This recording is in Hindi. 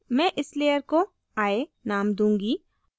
मैं इस layer को eye name दूँगी